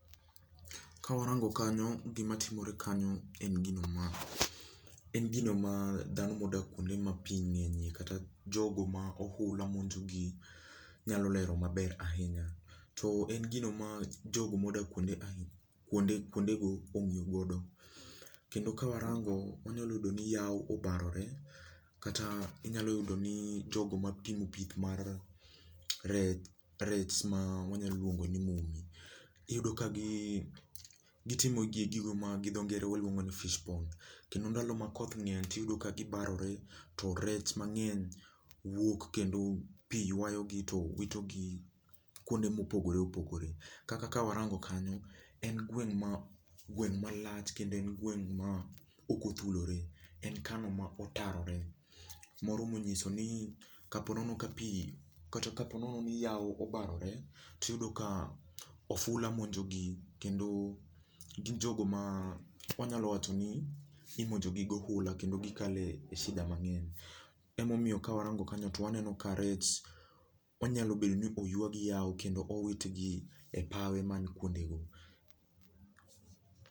Kawarango kanyo, gimatimore kanyo en gino ma en gino ma dhano modak kwonde ma pii ng'enyie kata jogo ma ohula monjo gi nyalo lero maber ahinya. To en gino ma jogo modak kwonde kwonde kwonde go ong'iyo godo. Kendo kawarango, wanyalo yudo ni yawo obarore, kata inyalo yudo ni jogo ma timo pith mar rech rech ma wanyalo luongo ni mumi. Iyudo ka gi gitimo gi gigo ma gi dho ngere waluongo ni fish pond kendo ndalo ma koth ng'eny tiyudo ka gibarore to rech mang'eny wuok kendo pii ywayo gi to wito gi kuonde mopogore opogore. Kaka kawarango kanyo, en gweng' ma gweng' malach kendo en gweng' ma okothulore, en kano ma otarore. moromo nyiso ni, kapo nono ka pii kata ka po nono ni yawo obarore, tiyudo ka ofula monjo gi kendo, gin jogo ma wanyalo wacho ni imonjo gi gohula kendo gikale e shida mang'eny. Emomiyo kawarango kanyo to waneno ka rech, onyalo bedo ni oywa gi yawo kendo owit gi e pawe man kwondego